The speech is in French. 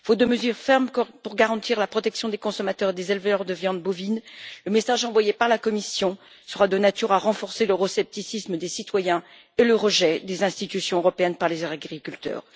Faute de mesures fermes pour garantir la protection des consommateurs et des éleveurs de viande bovine, le message envoyé par la Commission sera de nature à renforcer l'euroscepticisme des citoyens et le rejet des institutions européennes par les agriculteurs.